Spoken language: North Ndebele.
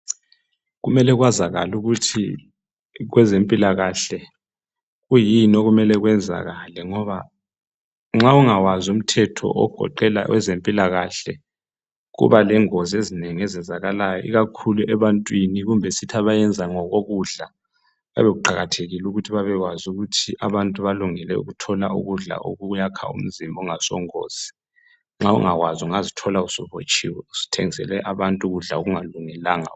Kumele kwazakale ukuthi kwezempilakahle kwiyini okumele kwenzakale ngoba nxa ungawazi umthetho ogoqela ezempilakahle kuba lengozi ezinengi ezenzakalayo ikakhulu ebantwini kumbe sithi abayenza ngokokudla kuyabe kuqakathekile ukuthi babekwazi ukuthi abantu balungele ukuthola ukudla okuyakha umzimba okungasongozi, nxa ungakwazi ungazithola subotshiwe suthengisele abantu ukudla okungalungelanga.